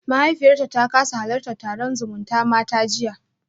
Mahaifiyarta ta kasa halartar taron zumutamata jiya